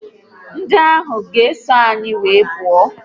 Ndị ahụ ga eso anyị wee pụọ